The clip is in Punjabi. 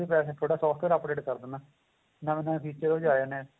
ਤੁਹਾਡਾ software update ਕਰ ਦੇਣਾ ਨਵੇਂ ਨਵੇਂ feature ਉਹਦੇ ਚ ਆਂ ਜਾਂਦੇ ਏ